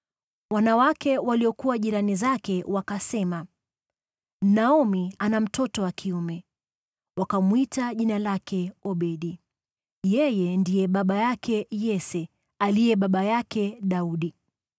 Wanawake waliokuwa jirani zake wakasema, “Naomi ana mtoto wa kiume.” Wakamwita jina lake Obedi. Yeye ndiye baba yake Yese, aliye baba yake Daudi.